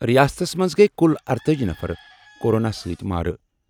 رِیاستَس منٛز گٔیہِ کُل ارتأجی نفر کورونا سۭتۍ مارٕ۔